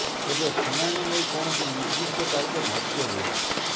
ତେବେ ଶୁଣାଣି ନେଇ କୌଣସି ନିର୍ଦ୍ଦିଷ୍ଟ ତାରିଖ ଧାର୍ୟ୍ୟ ହୋଇନି